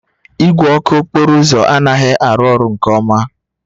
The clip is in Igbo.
Igwe ọkụ okporo ụzọ anaghị arụ ọrụ nke ọma